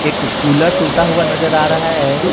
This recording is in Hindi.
एक कुलर टूटा हुआ नजर आ रहा है।